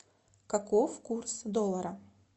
каков курс доллара